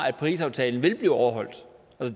at parisaftalen vil blive overholdt